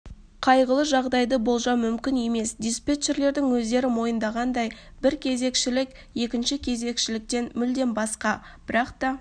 қайғылы жағдайды болжау мүмкін емес диспетчерлердің өздері мойындағандай бір кезекшілік екінші кезекшіліктен мүлдем басқа бірақ та